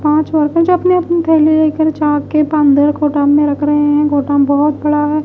आज वकत अपनी अपनी थैली लेकर जा के पांदर गोदाम में रख रहे हैं गोदाम बहुत बड़ा है --